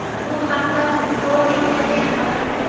Bu haqda Football Italia xabar berdi .